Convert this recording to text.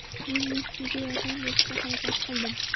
Men Messiga yordam berishga harakat qildim.